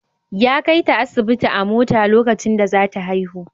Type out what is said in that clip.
Ya kaita asibiti a mota lokacin da za ta haihu.